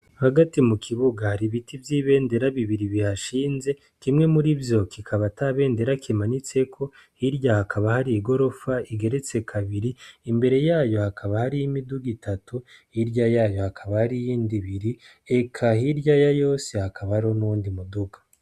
Hagati mukibuga hari ibiti vyibendera bibiri bihashinze kimwe murivyo kikaba atabendera ikimanitseko hirya hakaba hari igirofa igeretse kabiri imbere yayo hakaba hari imiduga itatu hirya yayo hakaba hariyo iyindi ibiri eka hirya yayose hakaba hariho n' uwundi muduga .